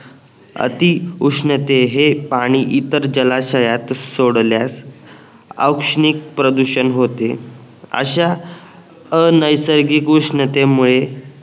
अति उष्णते हे पाणी इतर जलाशयात सोडल्यास औष्णिक प्रदूषण होते अश्या अनैसर्गिक उष्णतेमुळे